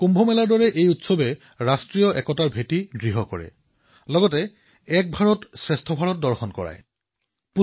কুম্ভৰ দৰে এই উৎসৱেও ৰাষ্ট্ৰীয় ঐক্যতা বৃদ্ধি কৰে আৰু এক ভাৰতশ্ৰেষ্ঠ ভাৰতৰ নিদৰ্শন দাঙি ধৰে